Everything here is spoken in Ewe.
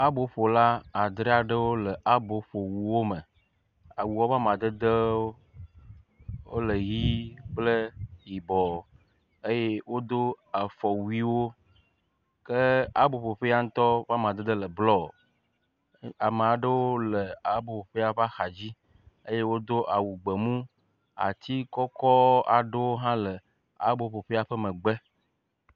Aboƒola adre aɖewole aboƒowuwo me. Awuawo ƒe amadedewo le ʋi kple yibɔ eye wodo afɔwuiwo ke aboƒoƒea ŋutɔ ƒe amadede le blɔ. Ame aɖewo le aboƒoƒea ƒe axadzi eye wodo awu gbemu atsi kɔkɔk aɖewo hã le aboƒoƒea ƒe megbe.